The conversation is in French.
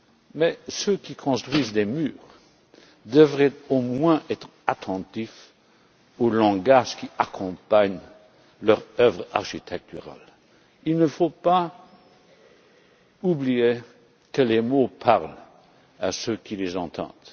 Mais ceux qui construisent ces murs devraient au moins être attentifs au langage qui accompagne leur œuvre architecturale. Il ne faut pas oublier que les mots parlent à ceux qui les entendent.